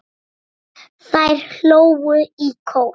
Þær hlógu í kór.